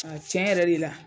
tiɲɛ yɛrɛ de la